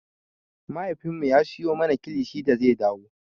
Mahaifinmu ya siyo mana kilishi da zai dawo.